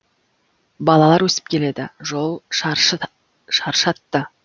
балалар өсіп келеді жол шаршатты